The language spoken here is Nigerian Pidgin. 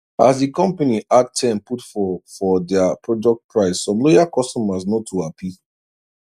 as di company add ten put for for their product price some loyal customers no too happy